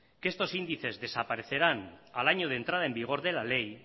que estos índices desaparecerán al año de entrada en vigor de la ley